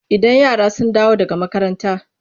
Idan yara sun dawo daga makaranta.